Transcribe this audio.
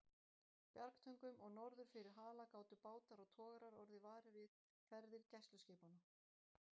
Bjargtöngum og norður fyrir Hala gátu bátar og togarar orðið varir við ferðir gæsluskipanna.